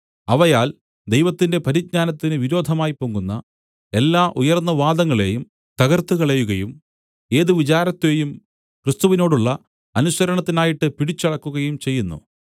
അവയാൽ ദൈവത്തിന്റെ പരിജ്ഞാനത്തിന് വിരോധമായി പൊങ്ങുന്ന എല്ലാ ഉയർന്ന വാദങ്ങളേയും തകർത്തുകളയുകയും ഏത് വിചാരത്തെയും ക്രിസ്തുവിനോടുള്ള അനുസരണത്തിനായിട്ട് പിടിച്ചടക്കുകയും ചെയ്യുന്നു